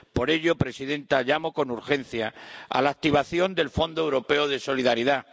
Por ello, señora presidenta, llamo con urgencia a la activación del Fondo Europeo de Solidaridad.